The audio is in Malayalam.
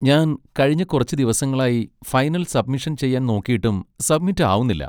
ഞാൻ കഴിഞ്ഞ കുറച്ച് ദിവസങ്ങളായി ഫൈനൽ സബ്മിഷൻ ചെയ്യാൻ നോക്കിയിട്ടും സബ്മിറ്റ് ആവുന്നില്ല?